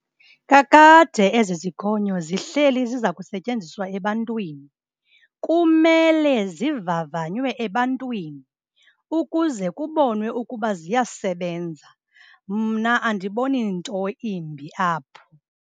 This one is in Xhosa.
Kakade ezi zikhonyo zihleli ziza kusetyenziswa ebantwini. Kumele zivavanywe ebantwini ukuze kubonwe ukuba ziyasebenza. Mna andiboni nto imbi apho.